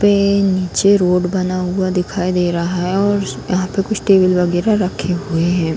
पे नीचे रोड बना हुआ दिखाई दे रहा है और उस यहाँ पे कुछ टेबल वगेरह रखे हुए हैं ।